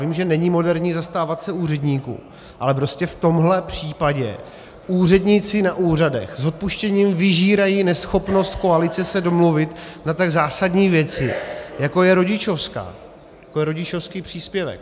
Vím, že není moderní zastávat se úředníků, ale prostě v tomhle případě úředníci na úřadech s odpuštěním vyžírají neschopnost koalice se domluvit na tak zásadní věci, jako je rodičovská, jako je rodičovský příspěvek.